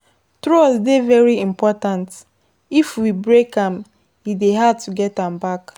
Trust dey very important, if we break am e dey hard to get am back